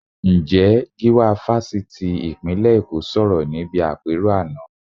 Ǹjẹ́ Gíwá Fásitì ìpínlẹ̀ Èkó sọ̀rọ̀ níbi àpérò àná?